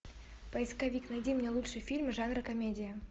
поисковик найди мне лучшие фильмы жанра комедия